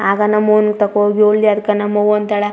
ಆಗ ನಮ್ಮೊವು ತಕೋ ಹೋಗಿ ಹೇಳ್ದಿ ಅದ್ಕ ನಮ್ಮ್ ಅವ್ವ ಅಂತಳ --